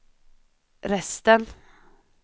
resten